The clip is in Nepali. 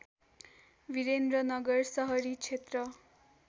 विरन्द्रनगर सहरी क्षेत्र